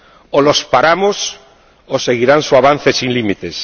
O los paramos, o seguirán su avance sin límites.